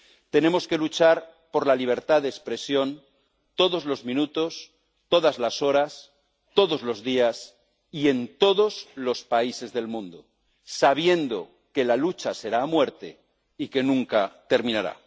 Tenemos que luchar por la libertad de expresión todos los minutos, todas las horas, todos los días y en todos los países del mundo, sabiendo que la lucha será a muerte y que nunca terminará.